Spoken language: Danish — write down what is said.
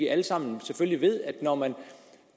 alle sammen ved at når man